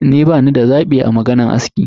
Ni bani da zabi a maganan aski.